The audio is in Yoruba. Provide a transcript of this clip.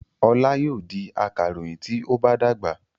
Ọlá yóò di akaròyìn tí ó bá dàgbà.